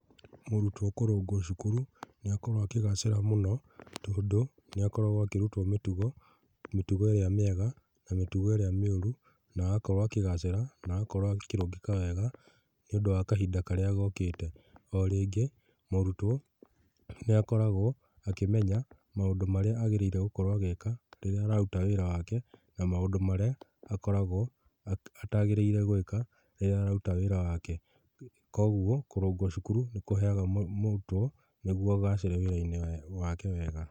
Mũrutwo kũrũngwo cukuru nĩ akoragwo akĩgacĩra mũno tondũ nĩ akoragwo akĩrutwo mĩtugo, mĩtugo ĩrĩa mĩega na mĩtugo ĩrĩa mĩũru agakorwo akĩgacĩra na agakorwo akĩrũngĩka wega nĩ ũndũ wa kahinda karĩa gokĩte. O rĩngĩ mũrutwo nĩ akoragwo akĩmenya maũndũ marĩa agĩrĩire gũkorwo agĩka rĩrĩa araruta wĩra wake na maũndũ marĩa atagĩrĩirwo gũkoragwo agĩka rĩrĩa araruta wĩra wake. Koguo kũrungwo cukuru nĩ kũheaga mũrutwo nĩguo agacĩre wĩra-inĩ wake wega.